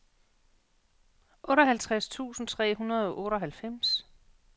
otteoghalvtreds tusind tre hundrede og otteoghalvfems